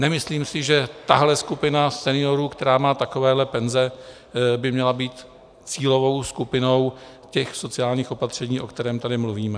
Nemyslím si, že tahle skupina seniorů, která má takovéhle penze, by měla být cílovou skupinou těch sociálních opatření, o kterém tady mluvíme.